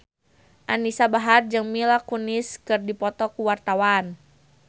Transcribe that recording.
Anisa Bahar jeung Mila Kunis keur dipoto ku wartawan